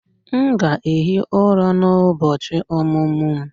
M ga-ehi ụra n'ụbọchị ọmụmụ m